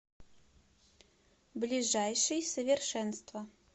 ближайший совершенство